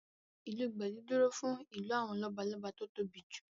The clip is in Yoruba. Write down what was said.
Ìlù gbẹ̀du dúró fún ìlù àwọn lọ́balọ́ba tó tóbi jù